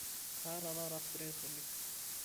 kaata taata stress oleng